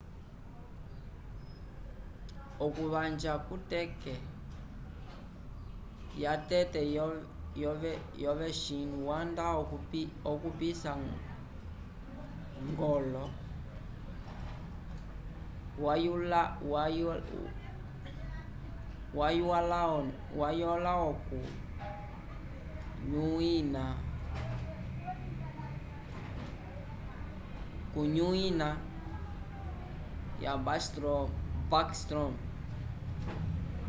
okuvanja ku teke ya tete ya ovechin wanda okupisa golo nokr wayulaoku nyuina ya s bascstrom